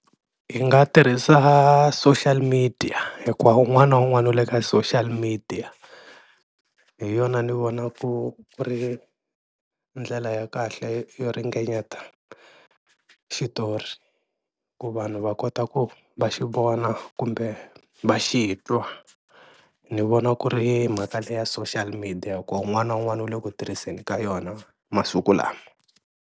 Hi nga tirhisa social media hikuva un'wana na un'wana u le ka social media hi yona ni vona ku ku ri ndlela ya kahle yo ringanyeta xitori, ku vanhu va kota ku va xi vona kumbe va xi twa ni vona ku ri mhaka leya social media ku un'wana na un'wana u le ku tirhiseni ka yona masiku lama.